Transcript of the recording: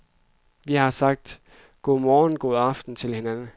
Vi har altid sagt godmorgen og godaften til hinanden.